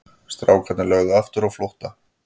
Strákarnir lögðu aftur á flótta.